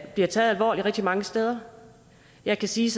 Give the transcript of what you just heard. bliver taget alvorligt rigtig mange steder jeg kan sige